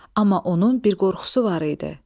Amma onun bir qorxusu var idi.